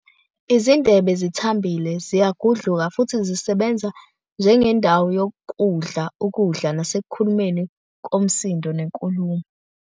Izindebe zithambile, ziyagudluka, futhi zisebenza njengendawo yokudla ukudla nasekukhulumeni komsindo nenkulumo.